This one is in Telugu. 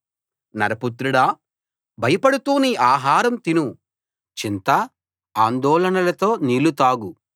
నరపుత్రుడా భయపడుతూ నీ ఆహారం తిను చింతా ఆందోళనలతో నీళ్ళు తాగు